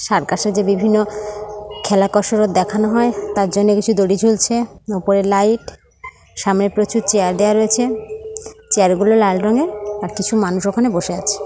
Circus এ বিভিন্ন খেলা কসরত দেখানো হয় তার জন্য কিছু দঁঁড়ি ঝুলছে ওপরে লাইট সামনের প্রচুর চেয়ার দেওয়া রয়েছে চেয়ার গুলো লাল রঙের আর কিছু মানুষ ওখানে বসে আছে।